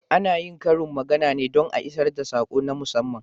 Ana yin karin magana ne don a isar da sako na musamman.